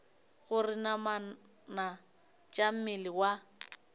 gore namana tša mmele wa